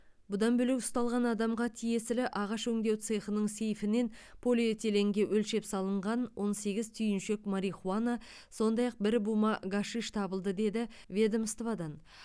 бұдан бөлек ұсталған адамға тиесілі ағаш өңдеу цехының сейфінен полиэтиленге өлшеп салынған он сегіз түйіншек марихуана сондай ақ бір бума гашиш табылды деді ведомстводан